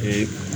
Ee